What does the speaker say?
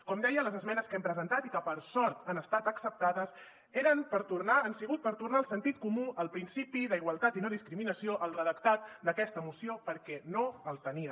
com deia les esmenes que hem presentat i que per sort han estat acceptades han sigut per tornar el sentit comú el principi d’igualtat i no discriminació al redactat d’aquesta moció perquè no el tenia